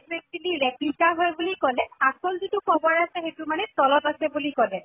তো actually replica হয় বুলি কʼলে, আচল যিটো কবৰ আছে সেইটো মানে তলত আছে বুলি কʼলে